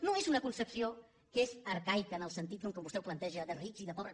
no és una concepció que és arcaica en el sentit que vostè ho planteja de rics i de pobres